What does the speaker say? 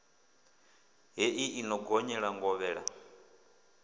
hei i no gonyela ngovhela